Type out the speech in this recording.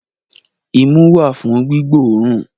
Imú wà fún gbígbóòrùn